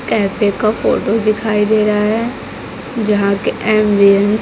cafe का photo दिखाई दे रहा है जहां की एम --